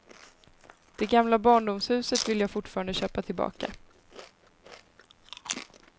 Det gamla barndomshuset vill jag fortfarande köpa tillbaka.